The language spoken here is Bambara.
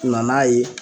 Na n'a ye